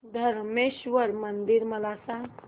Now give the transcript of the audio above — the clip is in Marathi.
धरमेश्वर मंदिर मला सांग